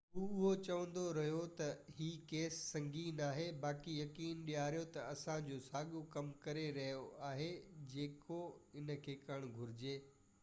هو اهو چوندو رهيو ته هي ڪيس سنگين آهي باقي يقين ڏياريو ته اسان جو ساڳيو ڪم ڪري رهيو آهي جيڪو ان کي ڪرڻ گهجي